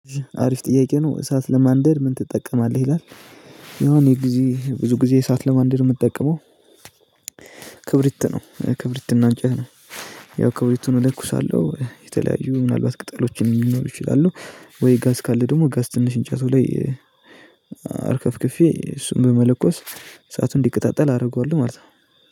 አሪፍ ጥያቄ ነው እሳት ለማንደድ ምን ትጠቀማለህ ይላል? የሆነ ግዜ ብዙ ግዜ እሳት ለማንደድ የምጠቀመው። ክብሪት ነው ክብሪት እና እንጨት ነው። ያው ክብሪቱን እሎክሳለሁ የተለያዩ ምናልባት ቅጠሎችን ሊኖሩ ይችላሉ። ወይ ጋዝ ካለ ደግሞ ጋዝ ትንሽ እንጨቱ ላይ አርከፍክፌ እሱን በመሎከስ እሳቱ እንዲቀጣጠል አደርገዋልው ማለት ነው